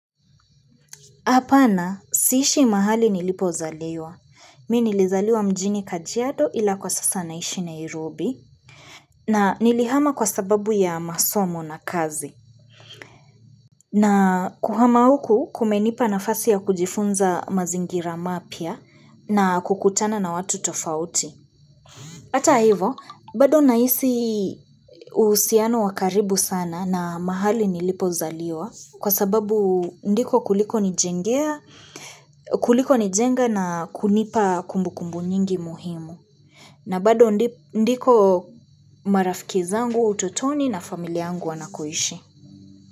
Hapana, siishi mahali nilipozaliwa. Mimi nilizaliwa mjini kajiado ila kwa sasa naishi Nairobi. Na nilihama kwa sababu ya masomo na kazi. Na kuhama huku kumenipa nafasi ya kujifunza mazingira mapya na kukutana na watu tofauti. Hata hivo, bado nahisi uhusiano wa karibu sana na mahali nilipozaliwa. Kwa sababu ndiko kuliko nijenga na kunipa kumbu kumbu nyingi muhimu. Na bado ndiko marafiki zangu wa utotoni na familia yangu wanakoishi.